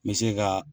N bɛ se ka